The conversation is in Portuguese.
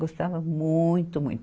Gostava muito, muito.